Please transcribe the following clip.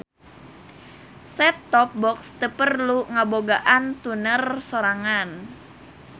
Set-top box teu perlu ngabogaan tuner sorangan.